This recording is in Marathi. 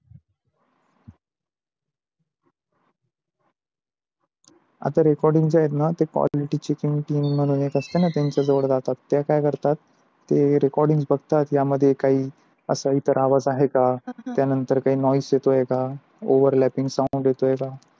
आता recording च्या आहे न ते quality checking team म्हणून एक असते न त्यांच्या जवळ जातात. ते काय करतात recording बघतात या मध्ये काही असाई तर आवाज आहे का, त्या नंतर काही noise येतो आहे का overlapping sound येतो आहे का.